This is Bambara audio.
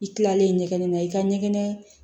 I kilalen ɲɛgɛn na i ka ɲɛgɛn